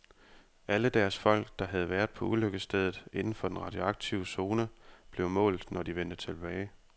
Alle deres folk, der havde været på ulykkesstedet inden for den radioaktive zone, blev målt, når de vendte tilbage.